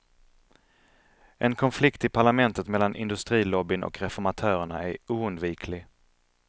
En konflikt i parlamentet mellan industrilobbyn och reformatörerna är oundviklig.